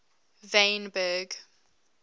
wynberg